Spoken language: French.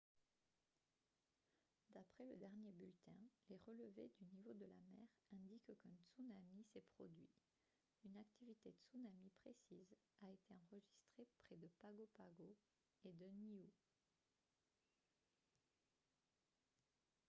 d'après le dernier bulletin les relevés du niveau de la mer indiquent qu'un tsunami s'est produit une activité tsunami précise a été enregistrée près de pago pago et de niue